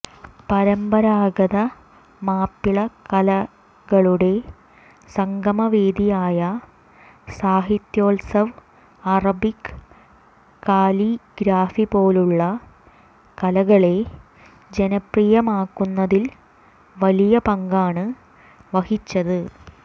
പരമ്പരാഗത മാപ്പിള കലകളുടെ സംഗമ വേദിയായ സാഹിത്യോത്സവ് അറബിക് കാലിഗ്രാഫിപോലുള്ള കലകളെ ജനപ്രിയമാക്കുന്നതിൽ വലിയ പങ്കാണ് വഹിച്ചത്